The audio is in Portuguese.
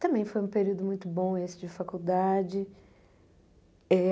Também foi um período muito bom esse de faculdade. Eh